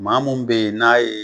Maamu be yen , n'a ye